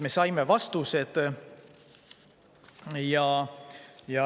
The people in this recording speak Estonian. Me saime ka vastused.